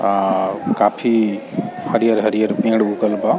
अ काफी हरियर-हरियर पेड़ उगल बा।